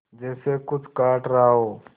जैसे कुछ काट रहा हो